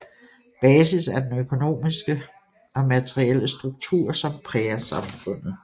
Basis er den økonomiske og materielle struktur som præger samfundet